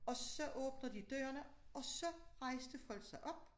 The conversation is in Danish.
Og så åbner de dørene og så rejste folk sig op